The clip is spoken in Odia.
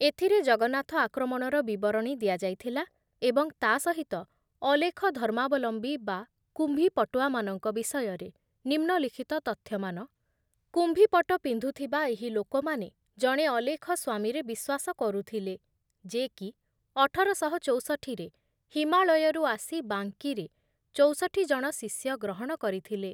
ଏଥିରେ ଜଗନ୍ନାଥ ଆକ୍ରମଣର ବିବରଣୀ ଦିଆଯାଇଥିଲା ଏବଂ ତା ସହିତ ଅଲେଖ ଧର୍ମାବଲମ୍ବୀ ବା କୁମ୍ଭୀପଟୁଆମାନଙ୍କ ବିଷୟରେ ନିମ୍ନଲିଖିତ ତଥ୍ୟମାନ, କୁମ୍ଭୀପଟ ପିନ୍ଧୁଥିବା ଏହି ଲୋକମାନେ ଜଣେ ଅଲେଖ ସ୍ଵାମୀରେ ବିଶ୍ଵାସ କରୁଥିଲେ ଯେ କି ଅଠର ଶହ ଚୌଷଠି ମସିହା ରେ ହିମାଳୟରୁ ଆସି ବାଙ୍କୀରେ ଚୌଷଠି ଜଣ ଶିଷ୍ୟ ଗ୍ରହଣ କରିଥିଲେ ।